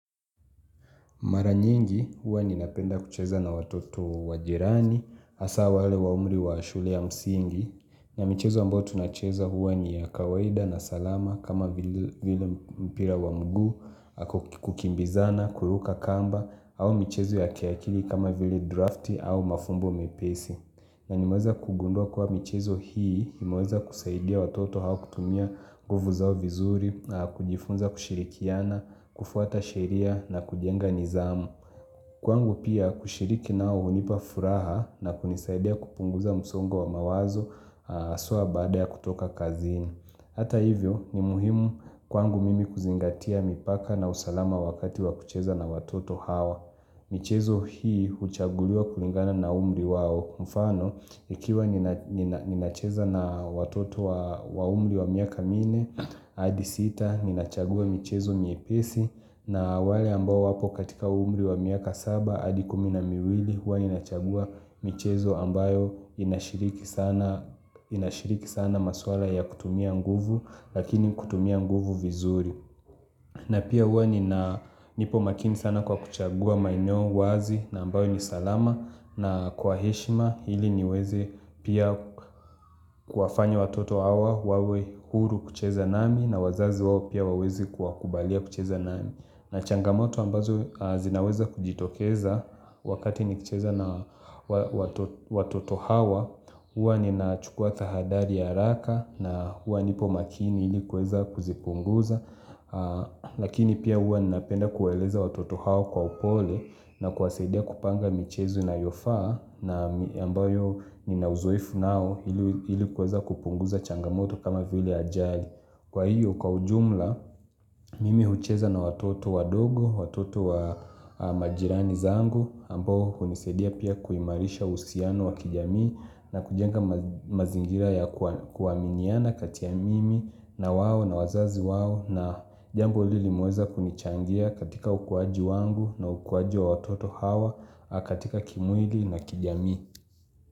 Mara nyingi huwa ninapenda kucheza na watoto wa jirani, hasa wale wa umri wa shule ya msingi, na michezo ambayo tunacheza huwa ni ya kawaida na salama kama vile mpira wa mguu, kukimbizana, kuruka kamba, au michezo ya kiakili kama vile drafti au mafumbo mepesi. Na nimaweza kugundua kuwa michezo hii, imeweza kusaidia watoto hao kutumia nguvu zao vizuri, kujifunza kushirikiana, kufuata sheria na kujenga nizamu. Kwangu pia kushiriki nao unipa furaha na kunisaidia kupunguza msongo wa mawazo aswa baada ya kutoka kazini. Hata hivyo ni muhimu kwangu mimi kuzingatia mipaka na usalama wakati wa kucheza na watoto hao. Michezo hii uchagululiwa kulingana na umri wao mfano Ikiwa nina ninacheza na watoto wa umri wa miaka minne hadi sita ninachagua michezo miepesi na wale ambao wapo katika umri wa miaka saba hadi kumi na miwili huwa ninachagua michezo ambayo inashiriki sana Inashiriki sana maswala ya kutumia nguvu Lakini kutumia nguvu vizuri na pia huwa nina nipo makini sana kwa kuchagua maeneo wazi na ambayo ni salama na kwa heshima ili niwezi pia kuwafanya watoto hawa wawe huru kucheza nami na wazazi wao pia wawezi kuwakubalia kucheza nami na changamoto ambazo zinaweza kujitokeza wakati nikicheza na watoto hawa huwa ninachukua tahadari ya haraka na huwa nipo makini ili kuweza kuzipunguza Lakini pia uwa ninapenda kueleza watoto hao kwa upole na kuwasadia kupanga michezo inayofaa na ambayo nina uzoefu nao ili kuweza kupunguza changamoto kama vile ajali Kwa hiyo kwa ujumla Mimi hucheza na watoto wadogo Watoto wa majirani zangu ambao unisadia pia kuimarisha uhusiano wa kijamii na kujenga mazingira ya kuaminiana kati ya mimi na wao na wazazi wao na jambo ili limeweza kunichangia katika ukuwaji wangu na ukuwaji wa watoto hawa katika kimwili na kijamii.